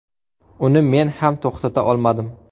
Uni men ham to‘xtata olmadim.